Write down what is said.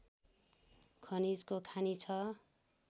खनिजको खानी छ